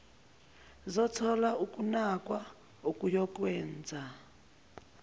zothola ukunakwa okuyokwenza